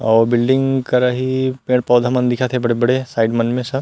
अऊ बिल्डिंग करा ही पेड़-पौधा मन दिखत हे बड़े-बड़े साइड मन में सब--